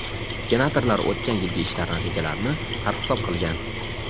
senatorlar o‘tgan yilgi ishlar natijalarini sarhisob qilgan.